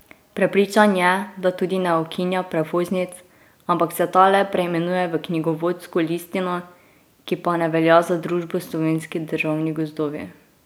Prepričan je, da tudi ne ukinja prevoznic, ampak se ta le preimenuje v knjigovodsko listino, ki pa ne velja za družbo Slovenski državni gozdovi.